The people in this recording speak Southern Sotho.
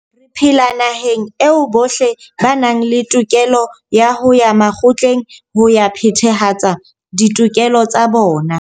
Re phela naheng eo bohle ba nang le tokelo ya ho ya makgotleng ho ya phethahatsa ditokelo tsa bona.